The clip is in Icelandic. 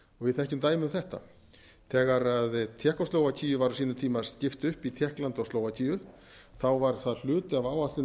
við þekkjum dæmi um þetta þegar tékkóslóvakíu var á sínum tíma skipt upp í tékkland og slóvakíu var það hluti af áætlun